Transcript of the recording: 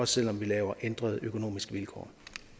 selv om vi laver ændrede økonomiske vilkår